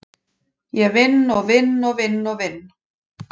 Ég vinn og vinn og vinn og vinn.